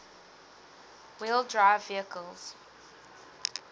wheel drive vehicles